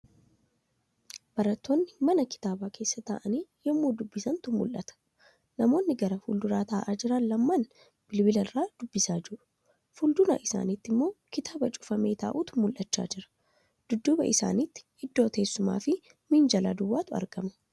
Barattoonni mana kitaabaa keessa taa'aanii yemmuu dubbisantu mul'ata. Namoonni gara fuulduraa taa'aa jiran lamaan bilbila irraa dubbisaa jiru. Fuuldura isaanitri immoo kitaaba cufamee taa'utu mul'achaa jira. Dudduuba isaanitti iddoo teessumaafi minjaala duwwaatu argama.